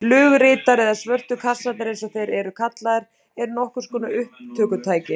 Flugritar eða svörtu kassarnir eins og þeir eru líka kallaðir eru nokkurs konar upptökutæki.